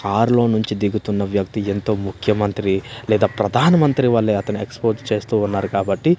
కారులో నుంచి దిగుతున్న వ్యక్తి ఎంతో ముఖ్యమంత్రి లేదా ప్రధానమంత్రి వల్లే అతని ఎక్స్పోజ్ చేస్తూ ఉన్నారు కాబట్టి--